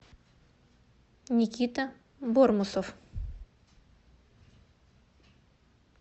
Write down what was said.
никита бормусов